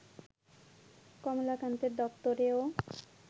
কমলাকান্তের দপ্তরেও